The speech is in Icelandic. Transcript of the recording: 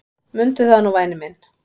Mundu það nú væni minn.